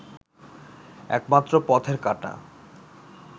একমাত্র পথের কাঁটা